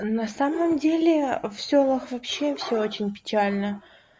на самом деле в сёлах вообще всё очень печально